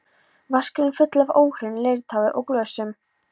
Vaskurinn fullur af óhreinu leirtaui og glösum.